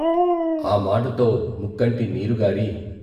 ఆ మాటతో ముక్కంటి నీరుగారి.